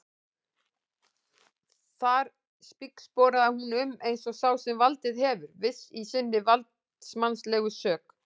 Þar spígsporaði hún um eins og sá sem valdið hefur, viss í sinni valdsmannslegu sök.